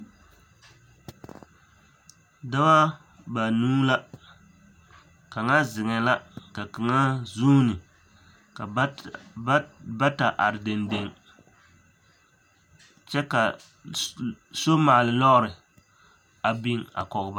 Dɔɔ banuu la, kaŋa zeŋɛɛ la ka kaŋa zuuni ka bata are dendeŋ kyɛ ka somaale lɔɔre a biŋ a kɔge ba.